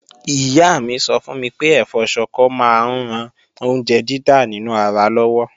Ìyá mi sọ fún mi pé ẹ̀fọ́ Ṣọkọ máa ń ran oúnjẹ dídà nínú ara lọ́wọ́